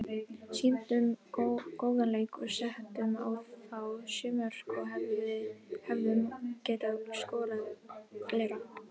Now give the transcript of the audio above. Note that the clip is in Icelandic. Sýndum góðan leik og settum á þá sjö mörk og hefðum getað skorað fleiri.